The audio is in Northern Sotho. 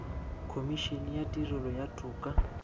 khomišene ya tirelo ya toka